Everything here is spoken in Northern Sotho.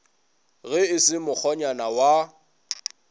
ge e se mokgonyana wa